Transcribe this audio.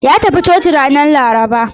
Ya tafi coci ranar Laraba.